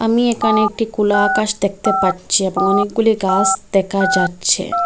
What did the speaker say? আমি একানে একটি কোলা আকাশ দেখতে পাচ্ছি এবং অনেকগুলি গাস দেখা যাচ্ছে।